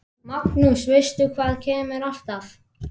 Magnús: Veistu hvað kemur alltaf?